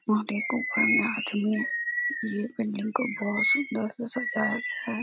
वह देखो ऊपर में आदमी है। ये बिल्डिंग को बहुत सुंदर से सजाया गया है।